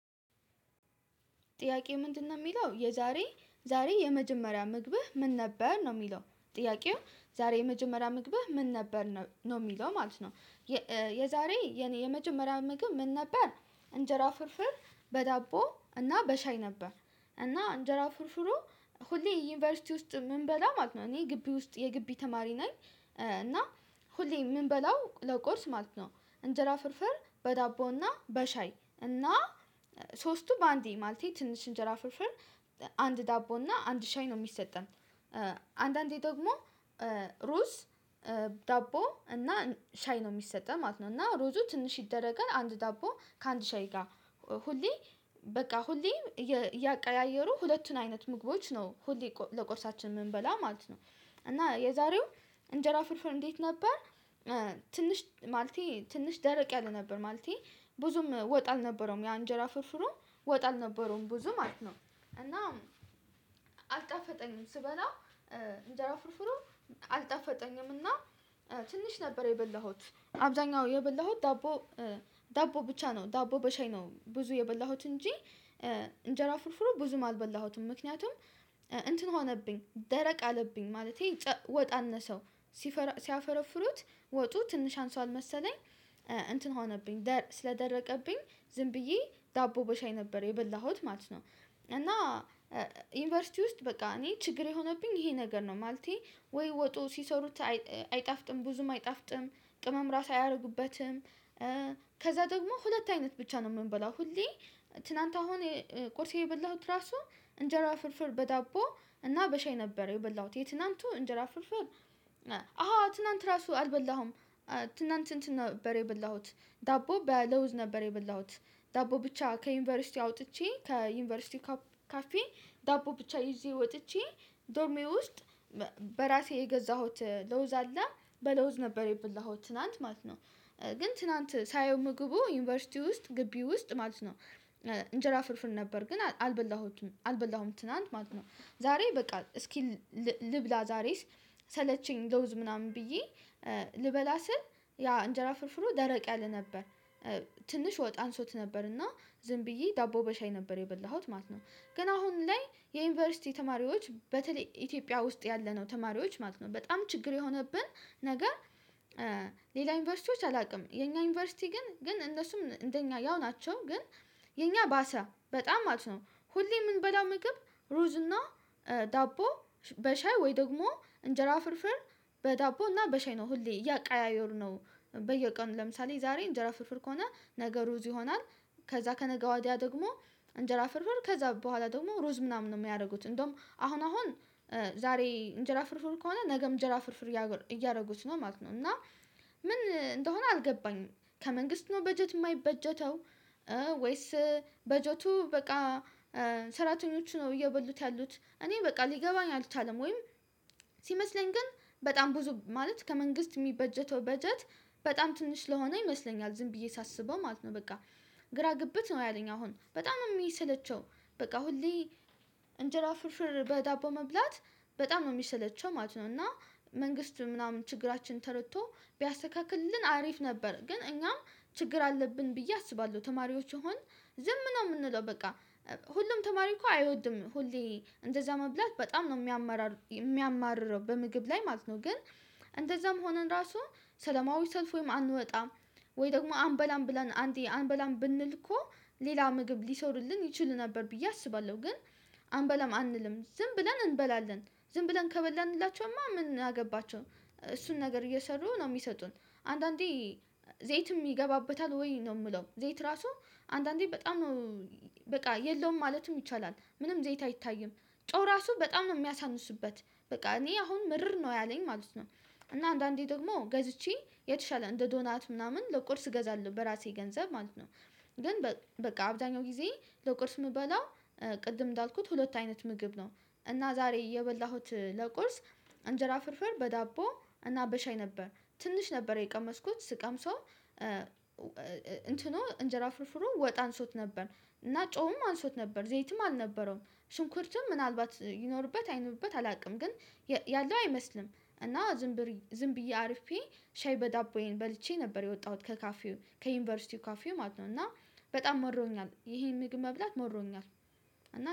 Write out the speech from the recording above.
ጥያቄው ምንድነው የሚለው የዛሬ ዛሬ የመጀመሪያ ምግብህ ምን ነበር ነው የሚለው ጥያቄው ዛሬ የመጀመሪያ ምግብህ ምን ነበር ነው የሚለው ማለት ነው። የዛሬ የመጀመሪያ ምግብ ምን ነበር? እንጀራ ፍርፍር በዳቦ እና በሻይ ነበር። እና እንጀራ ፍርፍሩ ሁሌ ዩኒቨርሲቲ ውስጥ ምንበላ ማለት ነው እኔ ግቢ ውስጥ የግቢ ተማሪ ነኝ። እና ሁሌ ምንበላው ለቁርስ ማለት ነው። እንጀራ ፍርፍር በዳቦና በሻይ እና ሶስቱ በአንዴ ማለቴ ትንሽ እንጀራ ፍርፍር አንድ ዳቦ እና አንድ ሻይ ነው የሚሰጠን። አንዳንዴ ደግሞ ሩዝ ዳቦ እና ሻይ ነው የሚሰጠን ማለት ነው። እና ሩዙ ትንሽ ይደረጋል አንድ ዳቦ ከአንድ ሻይ ጋር። ሁሌ በቃ ሁሌ እያቀያየሩ ሁለቱን አይነት ምግቦች ነው ሁሌ ለቁርሳችን የምንበላ ማለት ነው። እና የዛሬው እንጀራ ፍርፍር እንዴት ነበር? ትንሽ ማለቴ ትንሽ ደረቅ ያለ ነበር ማለቴ ብዙም ወጥ አልነበረውም የአንጀራ ፍርፍሩ ወጥ አልነበረውም ብዙ ማለት ነው። እና አልጣፈጠኝም ስበላው። እንጀራ ፍርፍሩ አልጠፋጠኝም እና ትንሽ ነበር የበላሁት አብዛኛው የበላሁት ዳቦ። ዳቦ ብቻ ነው ዳቦ በሻይ ነው ብዙ የበላሁት እንጂ እንጀራ ፍርፍሩ ብዙም አልበላሁትም። ምክንያቱም እንትን ሆነብኝ ደረቅ አለብኝ ማለቴ ወጥ አነሰው። ሲፈረፍሩት ወጡ ትንሽ አንሷል መሰለኝ እንትን ሆነብኝ ስለደረቀብኝ ዝም ብዬ ዳቦ በሻይ ነበር የበላሁት ማለት ነው። እና ዩኒቨርሲቲ ውስጥ በቃ እኔ ችግር የሆነብኝ ይሄ ነገር ነው ማለቴ ወይ ወጡ ሲሰሩት አይጣፍጥም ብዙም አይጣፍጥም ቅመም ራሱ አያደርጉበትም። ከዛ ደግሞ ሁለት አይነት ብቻ ነው የምንበላው። ሁሌ ትላንት አሁን ቁርሴ የበላሁት ራሱ እንጀራ ፍርፍር በዳቦ እና በሻይ ነበር የበላሁት የትላንቱ እንጀራ ፍርፍር። አዎ ትላንት ራሱ አልበላሁም። እንትን ነበር የበላሁት ዳቦ በለውዝ ነበር የበላሁት። ዳቦ ብቻ ከዩኒቨርሲቲ አውጥቼ ከዩኒቨርሲቲ ካፌ ዳቦ ብቻ ይዤ ወጥቼ ዶርሜ ውስጥ። በራሴ የገዛሁት ለውዝ አለ በለውዝ ነበር የብላሁት ትላንት ማለት ነው። ግን ትላንት ሳየው ምግቡ ዩኒቨርሲቲ ውስጥ ግቢ ውስጥ ማለት ነው። እንጀራ ፍርፍር ነበር ግን አልበላሁትም አልበላሁም ትናንት ማለት ነው። ዛሬ በቃ እስኪ ልብላ ዛሬ ሰለቸኝ ለውዝ ምናምን ብዬ ልበላ ስል ያ እንጀራ ፍርፍሩ ደረቅ ያለ ነበር። ትንሽ ወጥ አንሶት ነበር እና ዝም ብዬ ዳቦ በሻይ ነበር የበላሁት ማለት ነው። ግን አሁን ላይ የዩኒቨርሲቲ ተማሪዎች በተለይ ኢትዮጵያ ውስጥ ያለነው ተማሪዎች ማለት ነው በጣም ችግር የሆነብን። ነገር ሌላ ዩኒቨርሲቲዎች አላውቅም። የኛ ዩኒቨርሲቲ ግን ግን እነሱም እንደኛ ያው ናቸው ግን የኛ ባሰ በጣም ማለት ነው። ሁሌ የምንበላው ምግብ ሩዝና ዳቦ በሻይ ወይ ደግሞ እንጀራ ፍርፍር በዳቦ እና በሻይ ነው ሁሌ እያቀያየሩ ነው። በየቀኑ ለምሳሌ ዛሬ እንጀራ ፍርፍር ከሆነ ነገ ሩዝ ይሆናል። ከዛ ከነገ ወዲያ ደግሞ እንጀራ ፍርፍር ከዛ በኋላ ደግሞ ሩዝ ምናምን ነው የሚያደርጉት። እንደውም አሁን አሁን ዛሬ እንጀራ ፍርፍር ከሆነ ነገም እንጀራ ፍርፍር እያደረጉት ነው ማለት ነው። እና ምን እንደሆነ አልገባኝም። ከመንግስት ነው በጀት የማይበጀተው? ወይስ በጀቱ በቃ ሰራተኞቹ ነው እየበሉት ያሉት እኔ በቃ ሊገባኝ አልቻለም። ወይም ሲመስለኝ ግን በጣም ብዙ ማለት ከመንግስት የሚበጀተው በጀት በጣም ትንሽ ስለሆነ ይመስለኛል። ዝም ብዬ ሳስበው ማለት ነው በቃ ግራ ግብት ነው ያለኝ አሁን በጣም ነው የሚሰለቸው። በቃ ሁሌ እንጀራ ፍርፍር በዳቦ መብላት በጣም የሚሰለቸው ማለት ነው። እና መንግስት ምናምን ችግራችን ተረድቶ ቢያስተካክልን አሪፍ ነበር። ግን እኛም ችግር አለብን ብዬ አስባለሁ። ተማሪዎች ይሆን? ዝም ነው የምንለው በቃ ሁሉም ተማሪ እኮ አይወድም ሁሌ እንደዛ መብላት በጣም ነው የሚያማርረው የሚያማርረው በምግብ ላይ ማለት ነው። ግን እንደዛም ሆነን ራሱ ሰለማዊሰልፍ ወይም አንወጣም። ወይ ደግሞ አንበላም ብለን አንዴ አንበላም ብንል እኮ ሌላ ምግብ ሊሰሩልን ይችል ነበር ብዬ አስባለሁ ግን። አንበላም አንልም ዝም ብለን እንበላለን። ዝም ብለን ከበላንላቸውማ ምን አገባቸው እሱን ነገር እየሰሩ ነው የሚሰጡን። አንዳንዴ ዘይትም ይገባበታል ወይ ነው የምለው ዘይት ራሱ አንዳንዴ በጣም ነው። በቃ የለውም ማለትም ይቻላል ምንም ዘይት አይታይም። ጮህ ራሱ በጣም ነው የሚያሳንሱበት። በቃ እኔ አሁን ምርር ነው ያለኝ ማለት ነው። እና አንዳንዴ ደግሞ ገዝቼ የተሻለ እንደ ዶናት ምናምን ለቁርስ እገዛለሁ በራሴ ገንዘብ ማለት ነው። ግን በቃ አብዛኛው ጊዜ ለቁርስ የምበላው ቅድም እንዳልኩት ሁለት አይነት ምግብ ነው። እና ዛሬ የበላሁት ለቁርስ እንጀራ ፍርፍር በዳቦ እና በሻይ ነበር። ትንሽ ነበር የቀመስኩት ስቀምሰው እንትኑ እንጀራ ፍርፍሩ ወጥ አንሶት ነበር እና ጨውም አንሶት ነበር ዘይትም አልነበረውም። ሽንኩርትም ምናልባት ይኖርበት አይኖርበት አላውቅም ግን ያለው አይመስልም እና። ዝም ብዬ አርፌ ሻይ በዳቦዬን በልቼ ነበር የወጣሁት ከካፊው ከዩኒቨርሲቲው ካፊው ማለት ነው። እና በጣም መሮኛል ይሄን ምግብ መብላት መሮኛል።